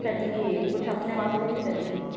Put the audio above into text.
ਕੱਢੀਏ ਕੁਛ ਆਪਣੇ ਵਾਸਤੇ ਵੀ ਕਰੀਏ।